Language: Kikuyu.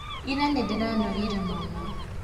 Ira nĩndĩranogire mũno.